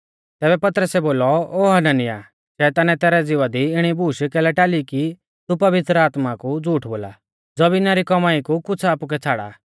तैबै पतरसै बोलौ ओ हनन्याह शैतानै तैरै ज़िवा दी इणी बूश कैलै टाली कि तू पवित्र आत्मा कु झ़ूठ बोला ज़मीना री कौमाई कु कुछ़ आपुकै छ़ाड़ा